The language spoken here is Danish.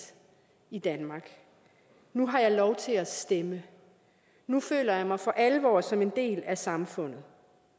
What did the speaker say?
i danmark nu har jeg lov til at stemme nu føler jeg mig for alvor som en del af samfundet